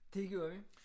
Det gjorde vi